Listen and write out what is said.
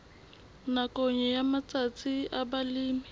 nakong ya matsatsi a balemi